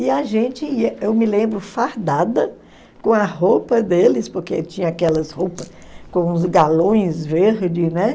E a gente ia, eu me lembro, fardada com a roupa deles, porque tinha aquelas roupas com uns galões verdes, né?